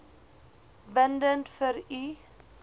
bindend vir u